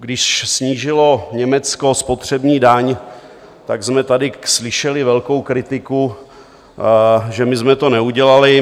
Když snížilo Německo spotřební daň, tak jsme tady slyšeli velkou kritiku, že my jsme to neudělali.